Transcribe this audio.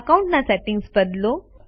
account ના settings બદલો